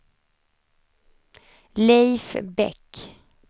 Leif Bäck